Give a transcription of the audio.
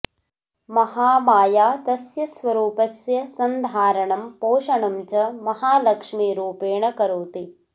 महामाया तस्य स्वरूपस्य सन्धारणं पोषणं च महालक्ष्मीरूपेण करोति